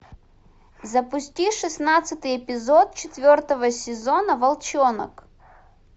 запусти шестнадцатый эпизод четвертого сезона волчонок